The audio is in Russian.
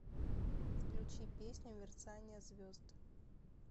включи песню мерцание звезд